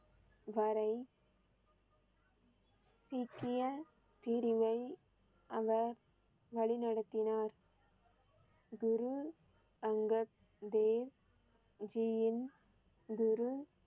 வரை சீக்கிய பிரிவை அவர் வழி நடத்தினார். குரு அங்கத் தேவ் ஜி யின் குரு